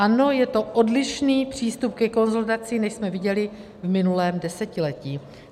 Ano, je to odlišný přístup ke konsolidaci, než jsme viděli v minulém desetiletí.